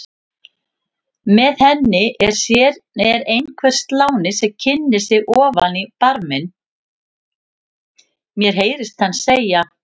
Með henni er einhver sláni sem kynnir sig ofan í barminn, mér heyrist hann segja